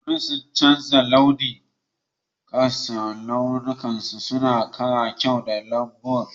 Barkono sun rataye nauyi akan rassan, launukansu suna kara kyau ga lambun.